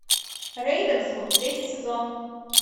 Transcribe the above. рейвенсвуд третий сезон